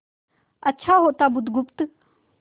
अच्छा होता बुधगुप्त